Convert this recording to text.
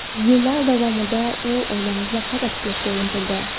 Yillar davomida u oilamizni qayta tiklashga intildi.